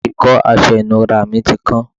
ìkọ́ aṣọ ìnura mi ti kán